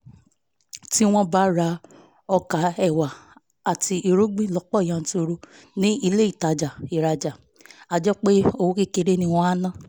tí wọ́n bá ń ra ọkà ẹ̀wà àti irúgbìn lọ́pọ̀ yanturu ní ilé ìtajà ìràjà àjẹpọ́n owó kékeré ni wọ́n á ná